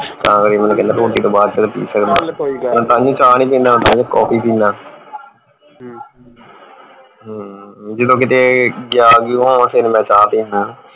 ਤਾਂ ਕਰਕੇ ਮੈਨੂੰ ਕਹਿੰਦਾ ਰੋਟੀ ਤੋਂ ਬਾਅਦ ਪੀ ਸਕਦਾ ਮੈਂ ਤਾਈਓਂ ਚਾ ਨਹੀਂ ਪੀਂਦਾ ਕਾੱਫੀ ਪੀਨਾ ਹਮ ਜਦੋਂ ਕਿਤੇ ਗਿਆ ਗੁਆ ਹੋਵਾਂ ਫੇਰ ਮੈਂ ਚਾ ਪੀਣੇ